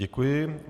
Děkuji.